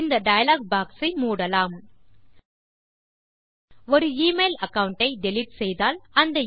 இந்த dialog box ஐ மூடலாம் ஒரு எமெயில் அகாவுண்ட் ஐ டிலீட் செய்தால்